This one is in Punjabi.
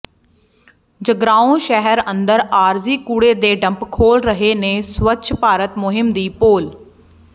ਜਗਰਾਉਂ ਸ਼ਹਿਰ ਅੰਦਰ ਆਰਜ਼ੀ ਕੂੜੇ ਦੇ ਡੰਪ ਖੋਲ ੍ਹਰਹੇ ਨੇ ਸਵੱਛ ਭਾਰਤ ਮੁਹਿੰਮ ਦੀ ਪੋਲ